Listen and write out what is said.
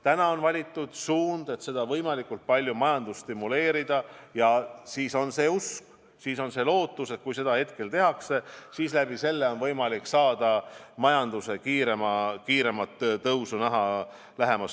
Praegu on valitud suund võimalikult palju majandust stimuleerida ja on usk, on lootus, et kui seda tehakse, siis on võimalik lähemas tulevikus majanduse kiiremat tõusu näha.